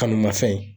Kanu ma fɛn ye